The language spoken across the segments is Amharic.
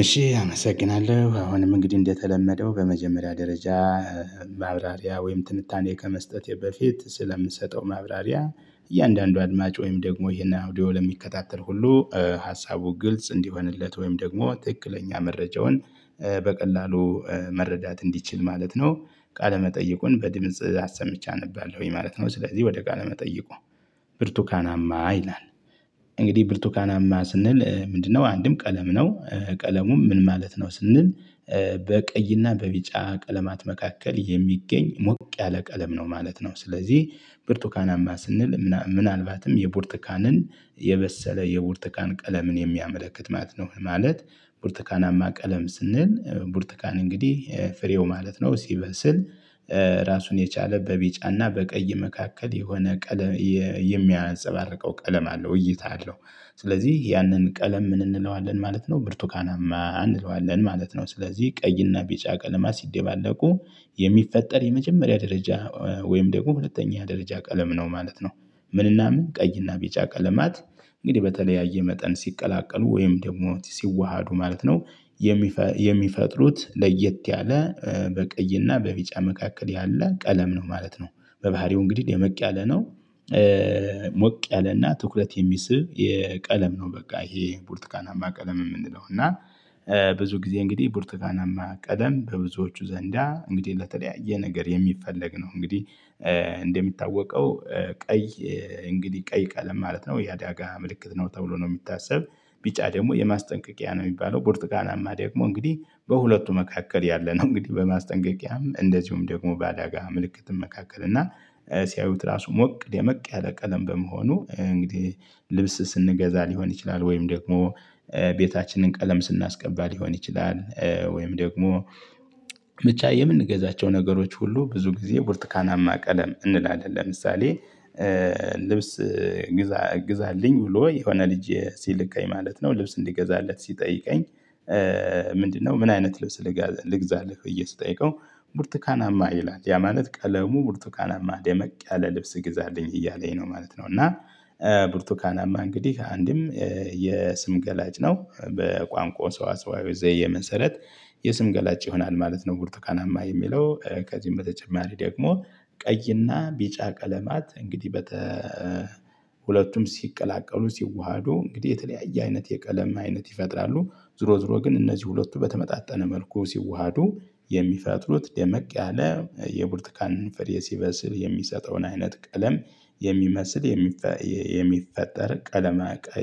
እሺ አመሰግናለሁ አሁንም እንግዲህ እንደተለመደው በመጀመሪያ ደረጃ ማብራሪያ ወይም ትንታኔ ከመስጠቴ በፊት ስለምሰጠው ማብራሪያ እያንዳንዱ አድማጭ ወይም ደግሞ ይሄን አውዲዮ ለሚከታተል ሁሉ ሀሳቡ ግልጽ እንዲሆንለት ወይም ደግሞ ትክክለኛ መረጃውን በቀላሉ መረዳት እንዲችል ማለት ነው ቃለመጠይቁን በድምጽ አሰምቼ አነባለሁኝ ማለት ነው። ስለዚህ ወደ ቃለመጠይቁ ብርቱካናማ ይላል እንግዲህ ብርቱካናማ ስንል ምንድነው? አንድም ቀለም ነው ቀለሙ ምን ማለት ነው ስንል በቀይና በቢጫ ቀለማት መካከል የሚገኝ ሞቅ ያለ ቀለም ነው ማለት ነው። ስለዚህ ብርቱካናማ ስንል ምናልባትም የብርቱካንን የበሰለ የብርቱካን ቀለምን የሚያመለክት ማለት ነው። ማለት ብርቱካናማ ቀለም ስንል ብርቱካን እንግዲህ ፍሬው ማለት ነው ሲበስል ራሱን የቻለ በቢጫና በቀይ መካከል የሆነ ቀለም የሚያነጸባርቀው ቀለም አለው እይታ አለው። ስለዚህ ያንን ቀለም ምን እንለዋለን ማለት ነው ብርቱካናማ እንለዋለን ማለት ነው። ስለዚህ ቀይና ቢጫ ቀለማ ሲደባለቁ የሚፈጠር የመጀመሪያ ደረጃ ወይም ደግሞ ሁለተኛ ደረጃ ቀለም ነው ማለት ነው። ምንና ምን ቀይና ቢጫ ቀለማት እንግዲህ በተለያየ መጠን ሲቀላቀሉ ወይም ደግሞ ሲዋሃዱ ማለት ነው። የሚፈጥሩት ለየት ያለ በቀይና በቢጫ መካከል ያለ ቀለም ነው ማለት ነው። በባህሪው እንግዲህ ደመቅ ያለ ነው። ሞቅ ያለና ትኩረት የሚስብ የቀለም ነው በቃ ይሄ ቡርቱካናማ ቀለም የምንለው እና። ብዙ ጊዜ እንግዲህ ብርቱካናማ ቀለም በብዙዎቹ ዘንዳ እንግዲህ ለተለያየ ነገር የሚፈለግ ነው እንግዲህ። እንደሚታወቀው ቀይ እንግዲህ ቀይ ቀለም ማለት ነው የአደጋ ምልክት ነው ተብሎ ነው የሚታሰብ ቢጫ ደግሞ የማስጠንቀቂያ ነው የሚባለው። ብርርቱካናማ ደግሞ እንግዲህ በሁለቱ መካከል ያለነው እንግዲህ በማስጠንቀቂያም እንደዚሁም ደግሞ በአደጋ ምልክትም መካከል እና። ሲያዩት ራሱ ሞቅ ደመቅ ያለ ቀለም በመሆኑ እንግዲህ ልብስ ስንገዛ ሊሆን ይችላል ወይም ደግሞ ቤታችንን ቀለም ስናስቀባ ሊሆን ይችላል ወይም ደግሞ። በቻ የምንገዛቸው ነገሮች ሁሉ ብዙ ጊዜ ብርቱካናማ ቀለም እንላለን ለምሳሌ። ልብስ ግዛ ግዛልኝ ብሎ የሆነ ልጅ ሲልከኝ ማለት ነው ልብስ እንድገዛለት ሲጠይቀኝ። ምንድነው? ምን አይነት ልብስ ልግዛለህ ብዬ ስጠይቀው ብርቱካናማ ይላል ያ ማለት ቀለሙ ብርቱካናማ ደመቅ ያለ ልብስ ግዛልኝ እያለኝ ነው ማለት ነው። እና ብርቱካናማ እንግዲህ አንድም የስም ገላጭ ነው በቋንቋ ሰዋሰዋዊ ዘየ መሰረት የስም ገላጭ ይሆናል ማለት ነው። ቡርቱካናማ የሚለው ከዚህም በተጨማሪ ደግሞ ቀይና ቢጫ ቀለማት እንግዲህ ሁለቱም ሲቀላቀሉ ሲዋሃዱ እንግዲህ የተለያየ አይነት የቀለም አይነት ይፈጥራሉ። ዙሮ ዙሮ ግን እነዚህ ሁለቱ በተመጣጣነ መልኩ ሲዋሃዱ የሚፈጥሩት ደመቅ ያለ የብርቱካን ፍሬ ሲበስል የሚሰጠውን አይነት ቀለም የሚመስል የሚፈጠር ቀለም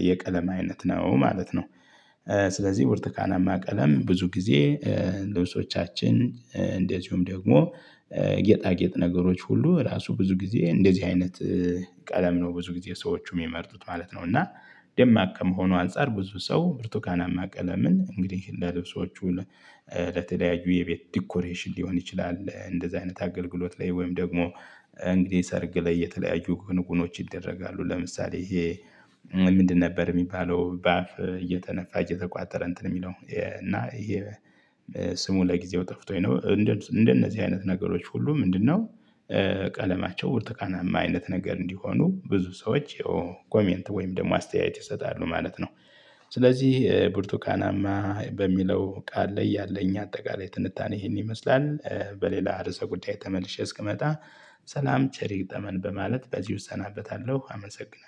የቀለማ አይነት ነው ማለት ነው። ስለዚህ ብርቱካናማ ቀለም ብዙ ጊዜ ልብሶቻችን እንደዚሁም ደግሞ ጌጣጌጥ ነገሮች ሁሉ ራሱ ብዙ ጊዜ እንደዚህ አይነት ቀለም ነው ብዙ ጊዜ ሰዎች የሚመርጡት ማለት ነው እና። ደማቅ ከመሆኑ አንፃር ብዙ ሰው ብርቱካናማ ቀለምን እንግዲህ ለልብሶቹ ለተለያዩ የቤት ዲኮሬሽን ሊሆን ይችላል እንደዚህ አይነት አገልግሎት ላይ ወይም ደግሞ እንግዲህ ሰርግ ላይ የተለያዩ ጉንጉኖች ይደረጋሉ። ለምሳሌ ይሄ ምንድን ነበር የሚባለው? በአፍ እየተነፋ እየተቋጠረ እንትን የሚለው እና ይሄ ስሙ ለጊዜው ጠፍቶኝ ነው። እንደ እንደነዚህ አይነት ነገሮች ሁሉ ምንድነው? ቀለማቸው ብርቱቃናማ አይነት ነገር እንዲሆኑ ብዙ ሰዎች ኮሜንት ወይም ደግሞ አስተያየት ይሰጣሉ ማለት ነው። ስለዚህ ብርቱካናማ በሚለው ቃል ላይ ያለኝ አጠቃላይ ትንታኔ ይሄን ይመስላል። በሌላ ርዕሰ ጉዳይ ተመልሼ እስክመጣ ሰላም ቸሪ ይግጠመን በማለት በዚህ እሰናበታለሁ አመሰግናለሁ